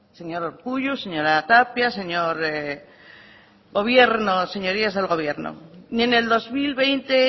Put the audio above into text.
señor urkullu señora tapia señorías del gobierno ni en el dos mil veinte